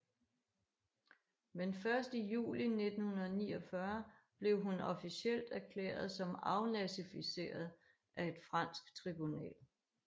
Men først i juli 1949 blev hun officielt erklæret som afnazifiseret af et fransk tribunal